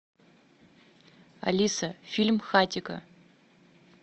алиса фильм хатико